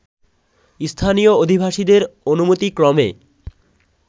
স্থানীয় আধিবাসীদের অনুমতিক্রমে